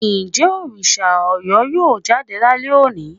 njẹ Òrìṣà Oro yọọ jadé lálẹ oní?